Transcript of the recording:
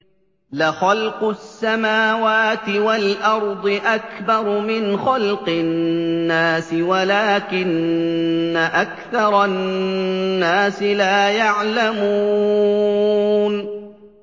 لَخَلْقُ السَّمَاوَاتِ وَالْأَرْضِ أَكْبَرُ مِنْ خَلْقِ النَّاسِ وَلَٰكِنَّ أَكْثَرَ النَّاسِ لَا يَعْلَمُونَ